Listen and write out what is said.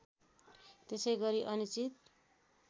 त्यसैगरी अनिश्चित